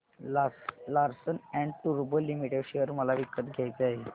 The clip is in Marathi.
लार्सन अँड टुर्बो लिमिटेड शेअर मला विकत घ्यायचे आहेत